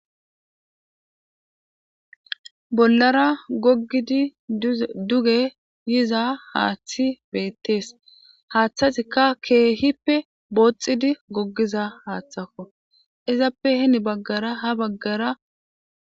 Bollara goggidi duge yiza haaththi beettees haaththatikka keehippe booxxidi goggiza haaththakko izappe heni baggara ha baggara